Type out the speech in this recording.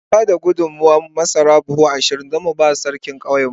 Mun ba da gudummawar masara buhu ashirin don mu ba Sarkin ƙauyenmu.